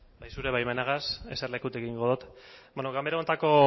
zure baimenagaz eserlekutik egingo dot ganbera honetako